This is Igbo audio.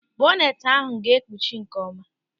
Bọneti ahụ ga-ekpuchi nkeọma.